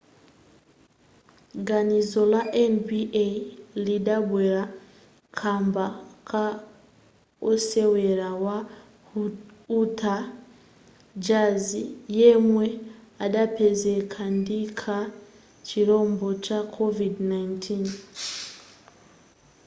ganizo la nba lidabwera kamba ka osewera wa utah jazz yemwe adapezeka ndi ka chirombo ka covid-19